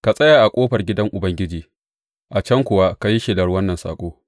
Ka tsaya a ƙofar gidan Ubangiji, a can kuwa ka yi shelar wannan saƙo.